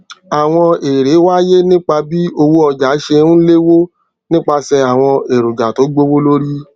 àwọn èrè wáyé nípa bí owó ọjà ṣé n léwó nípasè àwọn èròjà tó gbówó lórí